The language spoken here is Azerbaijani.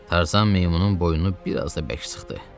Tarzan meymunun boynunu biraz da bərk sıxdı.